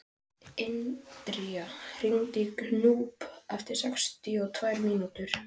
Indra, hringdu í Gnúp eftir sextíu og tvær mínútur.